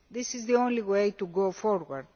This is the only way to go forward.